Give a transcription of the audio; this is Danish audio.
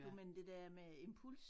Du mener det dér med impuls